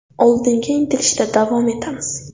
Oldinga intilishda davom etamiz!